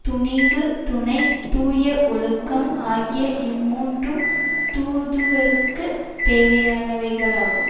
துணிவு துணை தூய ஒழுக்கம் ஆகிய இம்மூன்றும் தூதுவர்க்குத் தேவையானவைகளாகும்